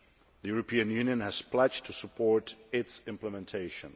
The European Union has pledged to support its implementation.